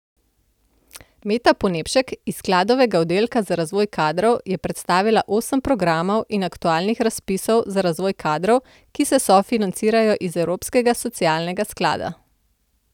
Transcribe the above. Meta Ponebšek iz skladovega oddelka za razvoj kadrov je predstavila osem programov in aktualnih razpisov za razvoj kadrov, ki se sofinancirajo iz evropskega socialnega sklada.